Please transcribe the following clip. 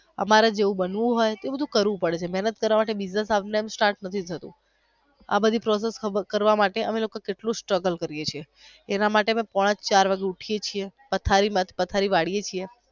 અમારે જેવું બનવું હોઈ તો બધું કરવું પડે મેહનત કાર્ય વગર એમનેમ business start નથી થતો. આ બધી process કરવા માટે અમે લોકો કેટલી strugal કરીયે છીએ એના માટે અમે લોકો પોણાચાર વાગે ઉઠીયે છીએ પથારી વરિયે છીએ.